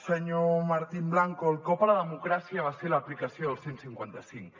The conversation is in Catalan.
senyor martín blanco el cop a la democràcia va ser l’aplicació del cent i cinquanta cinc